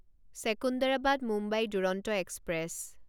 Secunderabad Mumbai Duronto express